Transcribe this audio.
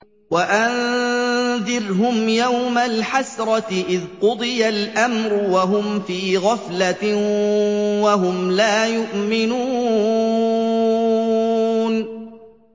وَأَنذِرْهُمْ يَوْمَ الْحَسْرَةِ إِذْ قُضِيَ الْأَمْرُ وَهُمْ فِي غَفْلَةٍ وَهُمْ لَا يُؤْمِنُونَ